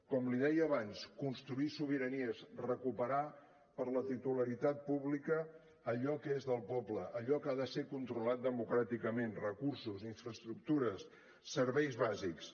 com li deia abans construir sobiranies recuperar per a la titularitat pública allò que és del poble allò que ha de ser controlat democràticament recursos infraestructures serveis bàsics